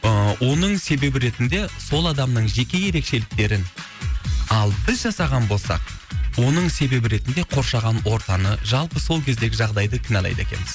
ыыы оның себебі ретінде сол адамның жеке ерекшеліктерін ал біз жасаған болсақ оның себебі ретінде қоршаған ортаны жалпы сол кездегі жағдайды кінәлайды екенбіз